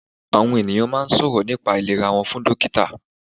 Àwọn ènìyàn máa n sọ̀rọ̀ nípa àìlera wọ́n fún dọ́kítà